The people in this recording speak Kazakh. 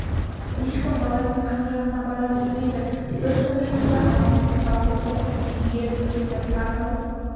ешкім баласын қанжығасына байлап жүрмейді бір күні түнде ала мысық жалғыз соқырын үйге ертіп келді тарғыл